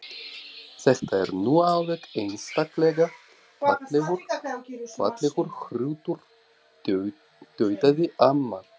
Þetta er nú alveg einstaklega fallegur hrútur tautaði amma.